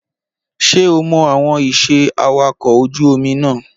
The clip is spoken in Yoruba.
Ṣé o mọ àwọn iṣẹ́ awakọ̀ ojú omi náà?